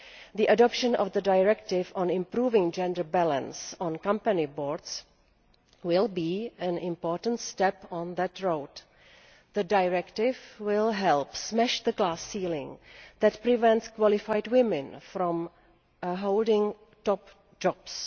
The adoption of the directive on improving gender balance on company boards will be an important step on that road. The directive will help smash the glass ceiling that prevents qualified women from holding top jobs.